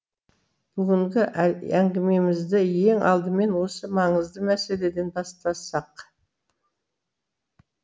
бүгінгі әңгімемізді ең алдымен осы маңызды мәселеден бастасақ